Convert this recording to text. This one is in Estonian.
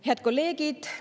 Head kolleegid!